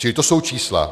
Čili to jsou čísla.